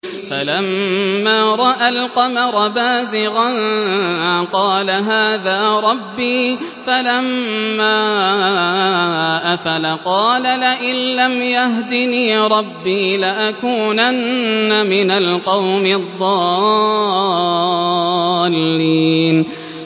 فَلَمَّا رَأَى الْقَمَرَ بَازِغًا قَالَ هَٰذَا رَبِّي ۖ فَلَمَّا أَفَلَ قَالَ لَئِن لَّمْ يَهْدِنِي رَبِّي لَأَكُونَنَّ مِنَ الْقَوْمِ الضَّالِّينَ